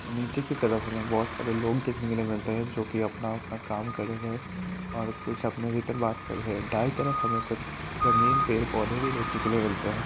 नीचे की तरह हमे बहुत सारे लोग देखने के लिए मिलते हैं जोकि अपना-अपना काम कर रहे हैं और कुछ अपने भीतर बात कर रहे हैं। दाई तरफ हमें कुछ रंगीन पेड़ पौधे भी देखने के लिए मिलते हैं।